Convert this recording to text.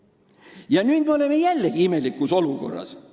Ja nüüd me oleme jällegi imelikus olukorras.